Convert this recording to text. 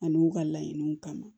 Ani u ka laɲiniw kama